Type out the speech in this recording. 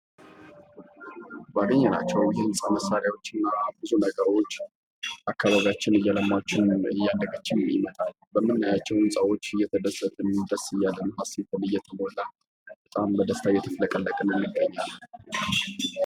ባገኘናቸው የህንፃ መሳሪያዎች እና ብዙ ነገሮች አካባቢያችን እየለማች እያደገችም ይመጣል:: በምናያቸው ህንፃዎች እየተደሰትን እና ደስ እያለን ሐሴትን እየተሞላን በጣም በደስታ እየተፍለቀለቅን እንገኛለን::